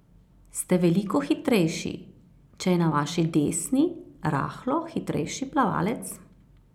Ste veliko hitrejši, če je na vaši desni rahlo hitrejši plavalec?